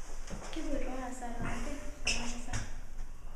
Kupoito aaas harambee tenkanisa